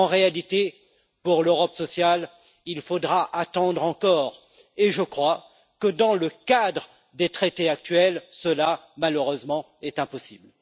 En réalité, pour l'Europe sociale, il faudra attendre encore et je crois que dans le cadre des traités actuels, cela est malheureusement impossible.